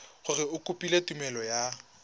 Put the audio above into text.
gore o kopile tumelelo ya